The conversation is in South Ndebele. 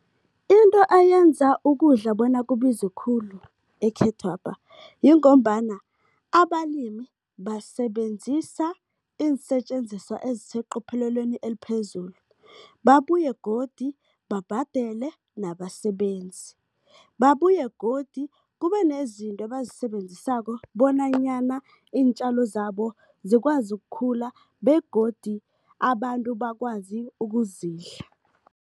Into eyenza ukudla bona kubize khulu ekhethwapha, yingombana abalimi basebenzisa iinsetjenziswa eziseqopheleleni eliphezulu. Babuye godu babhadele nabasebenzi, babuye godu kube nezinto ebazisebenzisako bonanyana iintjalo zabo zikwazi ukukhula begodu abantu bakwazi ukuzidla.